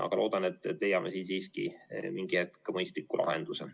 Aga loodan, et me leiame siiski mingi hetk mõistliku lahenduse.